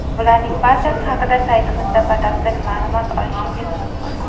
Bularning barchasi haqida saytimizda batafsil ma’lumot olishingiz mumkin.